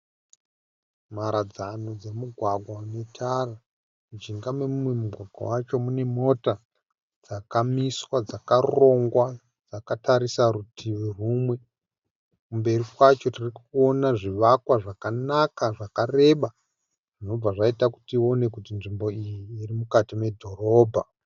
Mharadzano dzomugwagwa une tara. Mujinga memumwe mugwagwa wacho mune mota dzakamiswa dzakarongwa dzakatarisa rutivi rumwe. Kumberi kwacho tiri kuona zvivakwa zvakanaka zvakareba zvinobva zvaita kuti tione kuti nzvimbo iyi iri mukati medhorobha.